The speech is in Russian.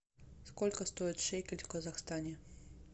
сколько стоит шекель в казахстане